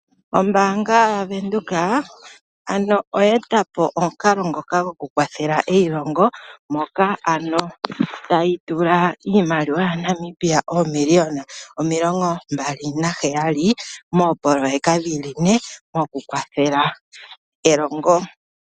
Ombaanga yaVenduka ano oye eta po omukalo ngoka gwokukwathela eilongo moka ano tayi tula iimaliwa yaNamibia oomiliona omilongo mbali naheyali moopoloyeka dhili ne mokukwathela elongo.